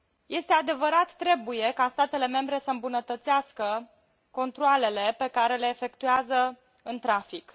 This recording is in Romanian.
Este adevărat, trebuie ca statele membre să îmbunătățească controalele pe care le efectuează în trafic.